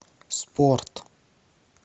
спорт